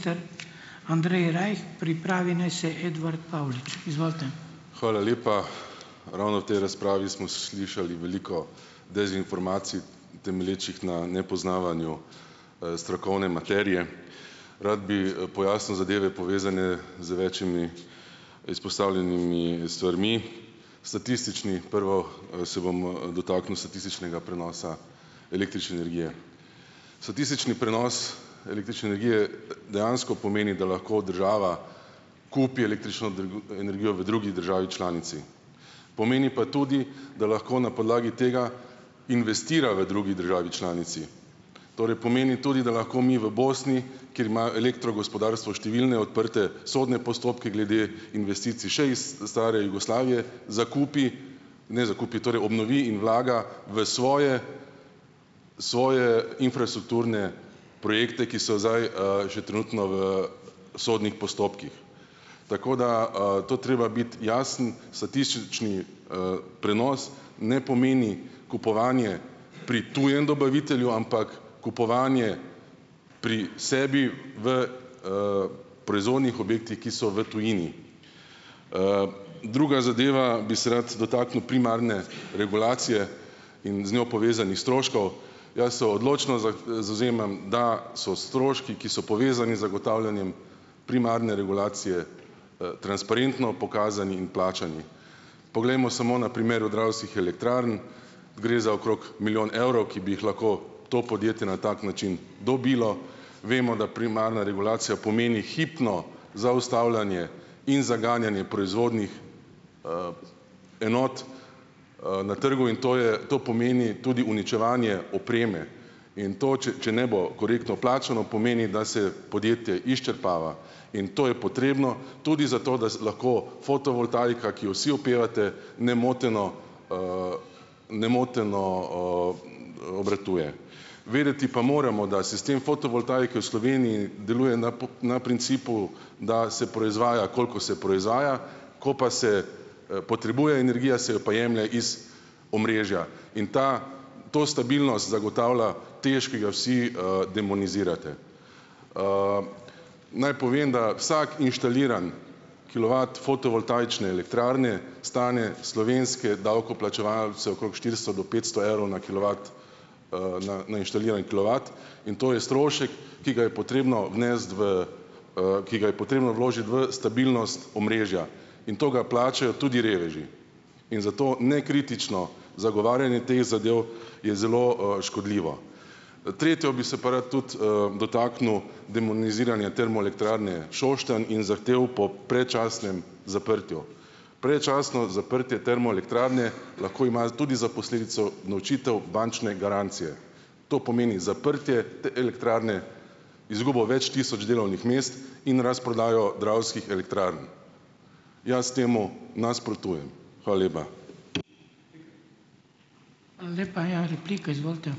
Hvala lepa. Ravno v tej razpravi smo slišali veliko dezinformacij, temelječih na nepoznavanju strokovne materije. Rad bi, pojasnil zadeve, povezane z večimi izpostavljenimi stvarmi. Statistični, prvo, se bom dotaknil statističnega prenosa električne energije. Statistični prenos električne energije dejansko pomeni, da lahko država kupi električno energijo v drugi državi članici, pomeni pa tudi, da lahko na podlagi tega investira v drugi državi članici, torej pomeni tudi da lahko mi v Bosni, kjer imajo elektrogospodarstvo številne odprte sodne postopke glede investicij še iz stare Jugoslavije, zakupi, ne, zakupi, torej obnovi in vlaga v svoje svoje infrastrukturne projekte, ki so zdaj, že trenutno v sodnih postopkih. Tako, da, to treba biti jasno, statistični, prenos ne pomeni kupovanje pri tujem dobavitelju, ampak kupovanje pri sebi v, proizvodnih objektih, ki so v tujini. Druga zadeva, bi se rad dotaknil primarne regulacije in z njo povezanih stroškov, jaz se odločno zavzemam, da so stroški, ki so povezani z zagotavljanjem primarne regulacije, transparentno pokazani in plačani. Poglejmo samo na primeru Dravskih elektrarn, gre za okrog milijon evrov, ki bi jih lahko to podjetje na tak način dobilo. Vemo, da primarna regulacija pomeni hipno zaustavljanje in zaganjanje proizvodnih enot, na trgu in to je to pomeni tudi uničevanje opreme in to, če če ne bo korektno plačano, pomeni, da se podjetje izčrpava in to je potrebno tudi zato, da lahko fotovoltaika, ki jo vsi opevate, nemoteno, nemoteno, obratuje. Vedeti pa moramo, da sistem fotovoltaike v Sloveniji deluje na principu, da se proizvaja, koliko se proizvaja, ko pa se, potrebuje energija, se jo pa jemlje iz omrežja. In ta to stabilnost zagotavlja TEŠ, ki ga vsi, demonizirate. Naj povem, da vsak inštaliran kilovat fotovoltaične elektrarne stane slovenske davkoplačevalce okrog štiristo do petsto evrov na kilovat. Na na inštaliran kilovat. In to je strošek, ki ga je potrebno vnesti v, ki ga je potrebno vložiti v stabilnost omrežja. In to ga plačajo tudi reveži. In zato nekritično zagovarjanje teh zadev je zelo, škodljivo. Tretjo, bi se pa rad tudi, dotaknil demoniziranja Termoelektrarne Šoštanj in zahtev po predčasnem zaprtju. Predčasno zaprtje termoelektrarne lahko ima tudi za posledico unovčitev bančne garancije. To pomeni zaprtje elektrarne, izgubo več tisoč delovnih mest in razprodajo Dravskih elektrarn. Jaz temu nasprotujem. Hvala lepa.